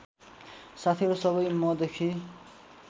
साथीहरू सबै मदेखि